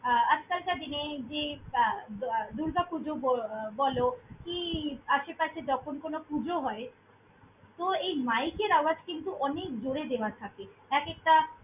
আহ আজকালকার দিনে যে আহ দুর্গাপূজো ব~ বলো কি আশেপাশে যখন কোনো পুজো হয়, তো এই mike এর আওয়াজ কিন্তু অনেক জোরে দেওয়া থাকে। এক একটা।